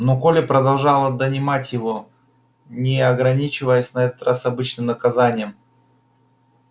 но колли продолжала донимать его не ограничиваясь на этот раз обычным наказанием